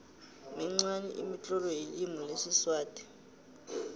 minqani imitlolo yelimi lesiswati